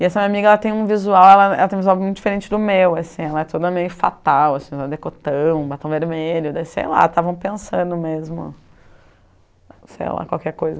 E essa minha amiga, ela tem um visual ela ela tem um visual muito diferente do meu assim, ela é toda meio fatal assim, decotão, batom vermelho, sei lá, estavam pensando mesmo, sei lá, qualquer coisa.